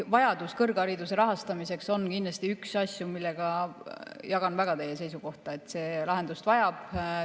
Vajadus kõrghariduse rahastamiseks on kindlasti üks asju, mille puhul ma jagan väga teie seisukohta, et see lahendust vajab.